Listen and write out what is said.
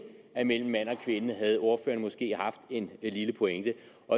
er mellem mand og kvinde havde ordføreren måske haft en lille pointe